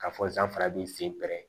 Ka fɔ sanfɛ b'i sen pɛrɛ